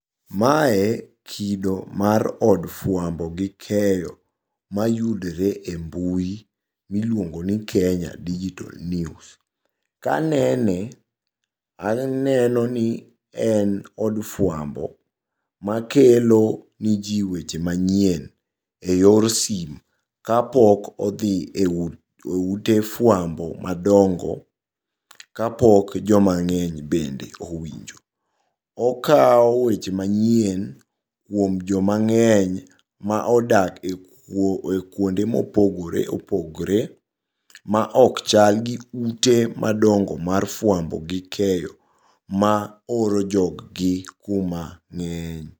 Mae kido mar od fuambo gi keyo mayudore e mbui miluongoni Kenya Digital News. Kanene aneno ni en od fuambo makelo nejii weche manyien e yor simu kapok odhi e ute fuambo madongo, kapok joma ng'eny bende owinjo. Okao weche manyien kuom joma ng'eny maodak e kuonde mopogore opogore maok chalgi ute madongo mar fuambo gi keyo maoro jog gi kuma ng'eny.